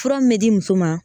Fura min bɛ di muso ma